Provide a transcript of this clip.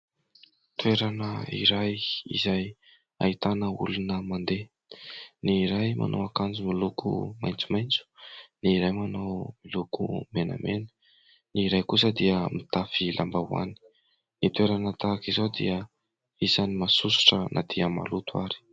Toerana iray izay ahitana olona mandeha. Ny iray manao akanjo miloko maitsomaitso, ny iray manao miloko menamena ny iray kosa dia mitafy lambahoany. Ny toerana tahaka izao dia isany masosotra na dia maloto ary.